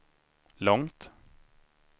långt